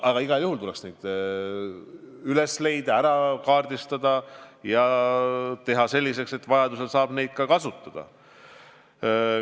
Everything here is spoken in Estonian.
Aga igal juhul tuleks need üles leida, ära kaardistada ja teha selliseks, et vajaduse korral saab neid ka kasutada.